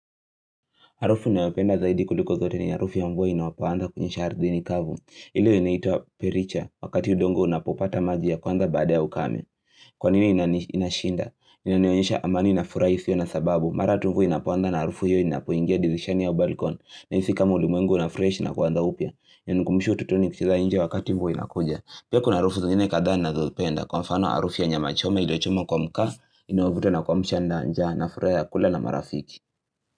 Harufu ninayopenda zaidi kuliko zote ni harufu ya mvua inapoanza kunyesha ardhini kavu. Ile inaitwa pericha. Wakati udongo unapopata maji ya kwanza baada ya ukame. Kwanini inashinda? Inanionyesha amani na furaha isiyo na sababu. Mara tu mvua inapoanza na harufu hiyo inapoingia dirishani au balcon. Nahisi kama ulimwengu unafresh na kuanza upya. Inanikumbusha utotoni kila nje wakati mvua inakuja. Pia kuna harufu zingine kadhaa ninazopenda. Kwa mfano harufu ya nyama choma iliyochomwa kwa makaa. Inaovuta na kuamsha njaa na furaha ya kula na marafiki.